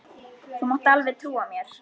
Þú mátt alveg trúa mér!